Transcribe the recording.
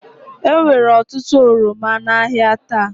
Enwere otutu oroma n'ahịa taa